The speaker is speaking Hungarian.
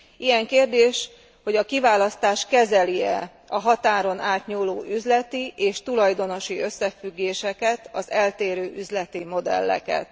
Ilyen kérdés, hogy a kiválasztás kezeli e a határon átnyúló üzleti és tulajdonosi összefüggéseket, az eltérő üzleti modelleket.